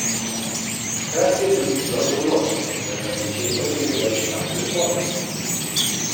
Takrat si je tudi zlomil nos, zaradi česar ni bil več tak lepotec.